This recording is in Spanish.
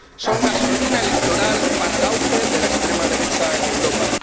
son gasolina electoral para el auge de la extrema derecha en Europa.